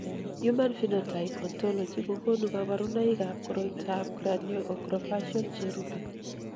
Human Phenotype Ontology kokonu kabarunoikab koriotoab Cranioacrofacial cherube.